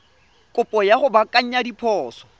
kopo ya go baakanya diphoso